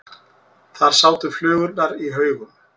Þar sátu flugurnar í haugum.